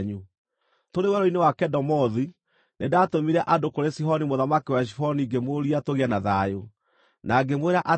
Tũrĩ werũ-inĩ wa Kedemothu nĩndatũmire andũ kũrĩ Sihoni mũthamaki wa Heshiboni ngĩmũũria tũgĩe na thayũ, na ngĩmwĩra atĩrĩ,